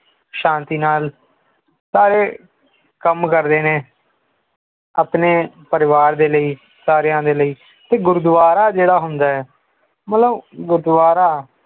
ਸ਼ਾਂਤੀ ਨਾਲ ਸਾਰੇ ਕੰਮ ਕਰਦੇ ਨੇ ਆਪਣੇ ਪਰਿਵਾਰ ਦੇ ਲਈ ਸਾਰਿਆਂ ਦੇ ਲਈ ਗੁਰਦੁਆਰਾ ਜੋੜਾ ਹੁੰਦਾ ਹੈ ਮਤਲਬ ਗੁਰਦੁਆਰਾ